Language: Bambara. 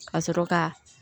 Ka sɔrɔ ka